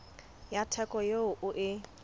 ya theko eo o e